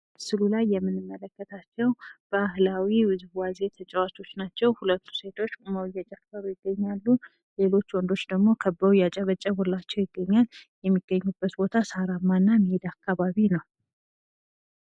ምስሉ ላይ የምንመለከታቸው ባህላዊ ውዝዋዜ ተጫዋቾች ናቸው። ሴቶች ቁመው እየጨፈሩ ይገኛሉ። ወንዶች ደግሞ ከበው እያጨበጨቡላቸው ይገኛል። የሚገኙበት ቦታ ሳራማ እና ሜዳ አካባቢ ነው።